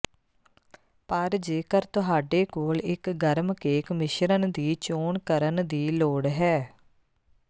ਪਰ ਜੇਕਰ ਤੁਹਾਡੇ ਕੋਲ ਇੱਕ ਗਰਮ ਕੇਕ ਮਿਸ਼ਰਣ ਦੀ ਚੋਣ ਕਰਨ ਦੀ ਲੋੜ ਹੈ